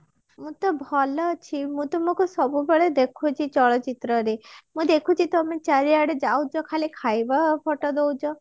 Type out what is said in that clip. ମୁଁ ତ ଭଲ ଅଛି ମୁଁ ତୁମକୁ ସବୁବେଳେ ଦେଖୁଛି ଚଳଚିତ୍ର ରେ ମୁଁ ଦେଖୁଛି ତମେ ଖାଲି ଚାରିଆଡେ ଯାଉଛ ଖାଲି ଖାଇବା ଖାଇବା photo ଦଉଛ